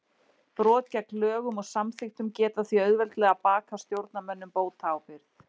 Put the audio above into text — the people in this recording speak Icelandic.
Brot gegn lögum og samþykktum geta því auðveldlega bakað stjórnarmönnum bótaábyrgð.